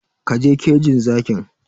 Ka je kejin zakin!